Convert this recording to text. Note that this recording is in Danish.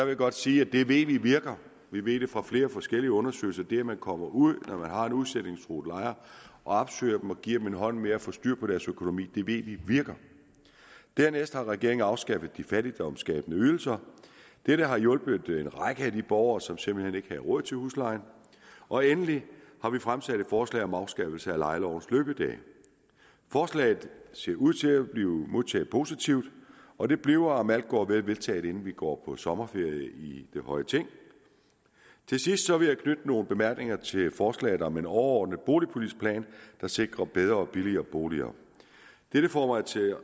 jeg godt sige at det ved vi virker vi ved det fra flere forskellige undersøgelser det at man kommer ud når man har udsætningstruede lejere og opsøger dem og giver dem en hånd med at få styr på deres økonomi ved vi virker dernæst har regeringen afskaffet de fattigdomsskabende ydelser dette har hjulpet en række af de borgere som simpelt hen ikke havde råd til huslejen og endelig har vi fremsat forslag om afskaffelse af lejelovens løbedage forslaget ser ud til at blive modtaget positivt og det bliver om alt går vel vedtaget inden vi går på sommerferie i det høje ting til sidst vil jeg knytte nogle bemærkninger til forslaget om en overordnet boligpolitisk plan der sikrer bedre og billigere boliger dette får mig til